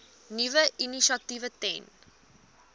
nuwe initiatiewe ten